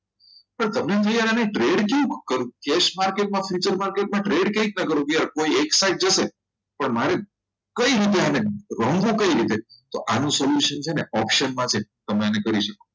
sir તમને એવું થાય આ trade કેવી રીતે કરવું cash marketfuture market trade કેવી રીતના કરું clear કોઈ એક જશે પણ મારે કઈ રીતે આને રમવું કઈ રીતે તો આનું solution છે ને option market તમે એને કરી શકો